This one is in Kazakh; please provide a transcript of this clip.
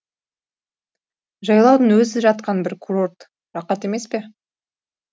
жайлаудың өзі жатқан бір курорт рақат емес пе